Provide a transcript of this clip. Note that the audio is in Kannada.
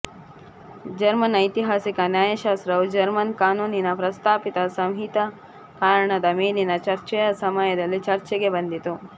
ಜರ್ಮನ್ ಐತಿಹಾಸಿಕ ನ್ಯಾಯಶಾಸ್ತ್ರವು ಜರ್ಮನ್ ಕಾನೂನಿನ ಪ್ರಸ್ತಾಪಿತ ಸಂಹಿತೀಕರಣದ ಮೇಲಿನ ಚರ್ಚೆಯ ಸಮಯದಲ್ಲಿ ಚರ್ಚೆಗೆ ಬಂದಿತು